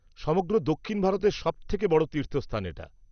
-সমগ্র দক্ষিণ ভারতের সবথেকে বড় তীর্থস্থান এটা।